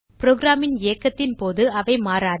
program ன் இயக்கத்தின் போது அவை மாறாது